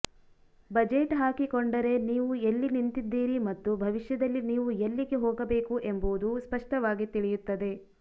budget ಹಾಕಿಕೊಂಡರೆ ನೀವು ಎಲ್ಲಿ ನಿಂತಿದ್ದೀರಿ ಮತ್ತು ಭವಿಷ್ಯದಲ್ಲಿ ನೀವು ಎಲ್ಲಿಗೆ ಹೋಗಬೇಕು ಎಂಬುದು ಸ್ಪಷ್ಟವಾಗಿ ತಿಳಿಯುತ್ತದೆ